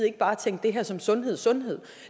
ikke bare at tænke det her som sundhedsundhed